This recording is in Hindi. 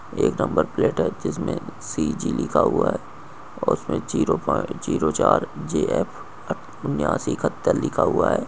एक नंबर प्लेट हैं जिस में सी. जी. लिखा हुआ हैं और उसमे जीरो प्वा जीरो चार जे. एफ. उन्यासी इकहत्तर लिखा हुआ हैं।